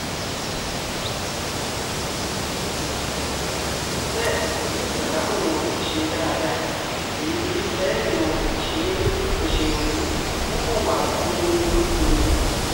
bẹ́ẹ̀ èyí ìsáláàmù wọn kò ṣe é dáadáa èyí kristẹni wọn kò ṣe é yanjú wọn kan wà gbu-n-duku ni